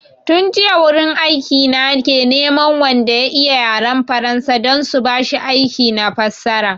Tun jiya wurin aiki na ke neman wanda ya iya yaran faransa don su bashi aiki na fassara